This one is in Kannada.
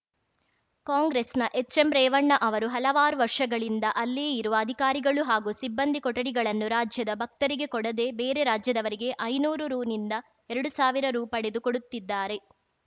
ಕಾಂಗ್ರೆಸ್‌ನ ಎಚ್‌ಎಂ ರೇವಣ್ಣ ಅವರು ಹಲವಾರು ವರ್ಷಗಳಿಂದ ಅಲ್ಲಿಯೇ ಇರುವ ಅಧಿಕಾರಿಗಳು ಹಾಗೂ ಸಿಬ್ಬಂದಿ ಕೊಠಡಿಗಳನ್ನು ರಾಜ್ಯದ ಭಕ್ತರಿಗೆ ಕೊಡದೇ ಬೇರೆ ರಾಜ್ಯದವರಿಗೆ ಐನೂರು ರುನಿಂದ ಎರಡು ಸಾವಿರ ರು ಪಡೆದು ಕೊಡುತ್ತಿದ್ದಾರೆ